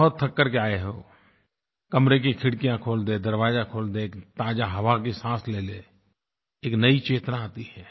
बहुत थक करके आए हो कमरे की खिड़कियाँ खोल दें दरवाज़ा खोल दें ताज़ा हवा की सांस ले लें एक नयी चेतना आती है